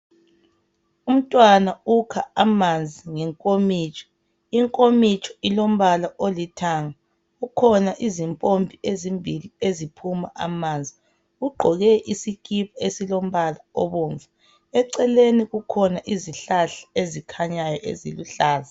Umntwana ukha amanzi ngenkomitsho inkomitsho ilombala olithanga kukhona izimpompi ezimbili eziphuma amanzi ugqoke isikipa esilombala obomvu exeleni kukhona izikipa ezikhanyayo eziluhlaza.